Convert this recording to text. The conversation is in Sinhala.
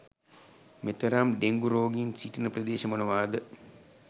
මෙතරම් ඩෙංගු රෝගීන් සිටින ප්‍රදේශ මොනවාද?